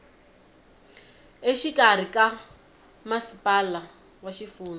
exikarhi ka masipala wa xifundza